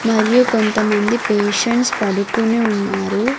మరియు కొంతమంది పేషెంట్స్ పడుకొనే ఉన్నారు.